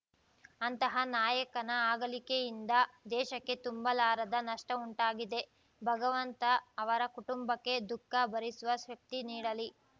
ಅಂತಹ ನಾಯಕನ ಅಗಲಿಕೆಯಿಂದ ದೇಶಕ್ಕೆ ತುಂಬಲಾರದ ನಷ್ಟವುಂಟಾಗಿದೆ ಭಗವಂತ ಅವರ ಕುಟುಂಬಕ್ಕೆ ದುಃಖ ಭರಿಸುವ ಶಕ್ತಿ ನೀಡಲಿ